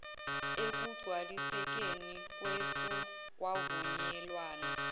ekugcwalisekeni kwesu kwavunyelwana